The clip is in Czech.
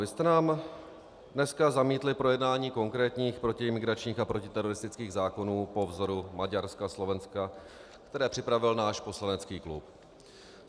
Vy jste nám dneska zamítli projednání konkrétních protiimigračních a protiteroristických zákonů po vzoru Maďarska, Slovenska, které připravil náš poslanecký klub.